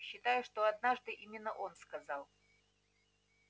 считаю что однажды именно он сказал